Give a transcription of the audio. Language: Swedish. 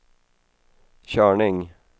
körning